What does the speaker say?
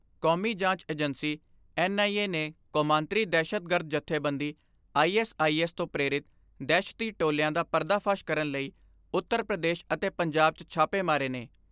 ਕੌਮੀ ਜਾਂਚ ਏਜੰਸੀ ਯਾਨੀ ਐਨ ਆਈ ਏ ਨੇ ਕੌਮਾਂਤਰੀ ਦਹਿਸ਼ਤਗਰਦ ਜਥੇਬੰਦੀ ਆਈ ਐਸ ਆਈ ਐਸ ਤੋਂ ਪ੍ਰੇਰਿਤ ਦਹਿਸ਼ਤੀ ਟੋਲਿਆਂ ਦਾ ਪਰਦਾ ਫਾਸ਼ ਕਰਨ ਲਈ ਉੱਤਰ ਪ੍ਰਦੇਸ਼ ਅਤੇ ਪੰਜਾਬ 'ਚ ਛਾਪੇ ਮਾਰੇ ਨੇ।